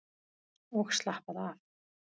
Og slappaðu af!